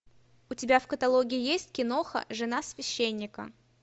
у тебя в каталоге есть киноха жена священника